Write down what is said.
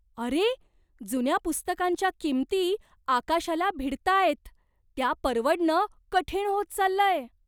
अरे! जुन्या पुस्तकांच्या किमती आकाशाला भिडतायत. त्या परवडणं कठीण होत चाललंय.